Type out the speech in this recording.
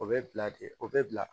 O bɛ bila de o bɛ bila